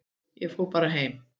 Ég fór bara heim.